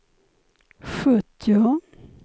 sjuttio